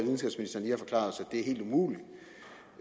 det er helt umuligt